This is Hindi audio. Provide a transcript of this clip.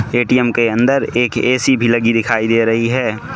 ए_टी_एम के अंदर एक ए_सी भी लगी दिखाई दे रही है।